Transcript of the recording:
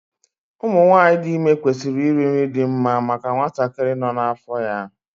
Ụmụ nwanyị dị ime kwesịrị iri nri dị mma maka nwatakịrị nọ ha n'afọ ya